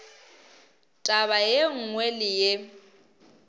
taba ye nngwe le ye